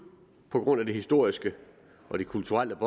på grund af de historiske og de kulturelle